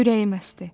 Ürəyim əsdi.